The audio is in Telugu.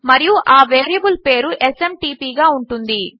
మరియు ఆ వేరియబుల్ పేరు ఎస్ఎంటీపీ గా ఉంటుంది